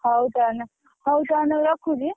ହଉ ତାହେଲେ ହଉ ତାହେଲେ ମୁଁ ରଖୁଛି।